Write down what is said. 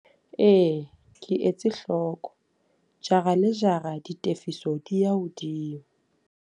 Ee, ke etse hloko. Jara le jara ditefiso di ya hodimo.